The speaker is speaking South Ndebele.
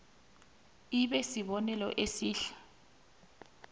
ibe sibonelo esihle